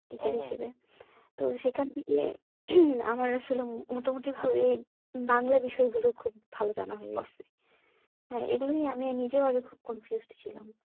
Teacher হিসেবে তো সেখান থেকে আমার আসলে মোটামোটি ভাবে বাংলা বিষয় হলো খুব ভালো জানা হয়ে গেছে হ্যাঁ এগুলো নিয়ে আমি নিজেও আগে খুব confused ছিলাম